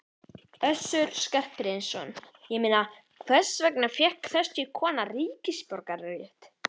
Össur Skarphéðinsson: Ég meina, hvers vegna fékk þessi kona ríkisborgararétt?